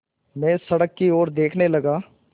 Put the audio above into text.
मैं सड़क की ओर देखने लगा